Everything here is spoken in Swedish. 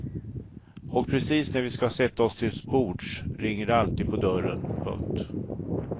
Och precis när vi ska sätta oss till bords ringer det alltid på dörren. punkt